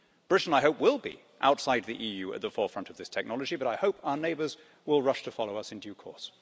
Britain, I hope, will be outside the EU at the forefront of this technology, but I hope our neighbours will rush to follow us in due course.